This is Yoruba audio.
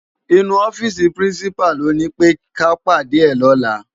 Inú òfisi pirinsipá ló ni pé ká pádé è lòlá